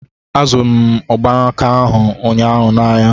Azụrụ m mgbanaka ahụ ụnyaahụ n'ahịa